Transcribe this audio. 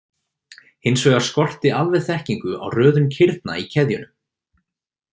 Hins vegar skorti alveg þekkingu á röðun kirna í keðjunum.